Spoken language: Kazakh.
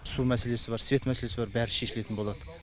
су мәселесі бар свет мәселесі бар бәрі шешілетін болады